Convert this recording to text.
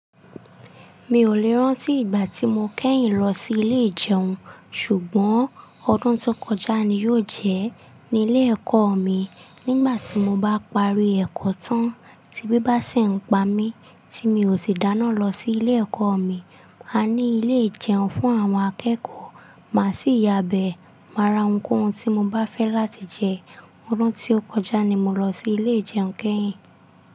Mi ò lè rán tí ìgbà tí mo kẹ́yìn lọ sí ilé ìjẹun, ṣùgbọ́n ọdún tó kọjá ni yóò jẹ́ ní ilé ẹ̀kọ́ mi. Nígbà tí mo bá parí ẹ̀kọ́ tán, tí bí bá sì ń pa mí tí mi ò sì dáná lọ sí ilé ẹ̀kọ́ mi, a ní ilé ìjẹun fún àwọn akẹ́kọ̀ọ́. Má sì yabẹ́, máa ra ohunkóhun tí mo bá fẹ́ láti jẹ. Ọdún tí ó kọjá ni mo lọ sí ilé ìjẹun kẹ́yìn.